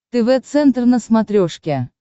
тв центр на смотрешке